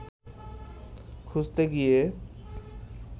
খুঁজতে গিয়ে